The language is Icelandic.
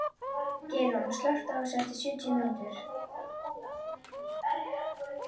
Geirrún, slökktu á þessu eftir sjötíu mínútur.